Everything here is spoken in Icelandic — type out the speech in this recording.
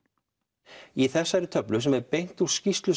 í þessari töflu sem er beint úr skýrslu